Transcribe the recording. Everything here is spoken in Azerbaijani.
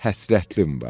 həsrətin var.